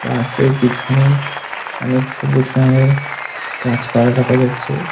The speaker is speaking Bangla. বাসের পিছনে অনেক সবুজ রঙের গাছপালা দেখা যাচ্ছে।